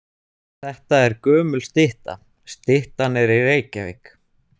Þetta er gömul stytta. Styttan er í Reykjavík.